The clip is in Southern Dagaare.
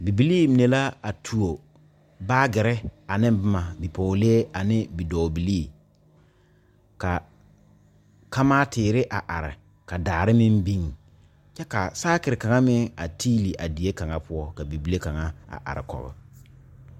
Bibilii mine la a tuo baagirre ane bomma bipɔɔlee anee bidɔɔbilii ka kamaa teere a are ka daare meŋ biŋ kyɛ ka saakire kaŋa meŋ a teeli a die kaŋa poɔ ka bibile kaŋa a are kɔg.